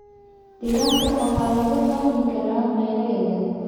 Digaagga waxaa lagu hayn karaa meelo yaryar.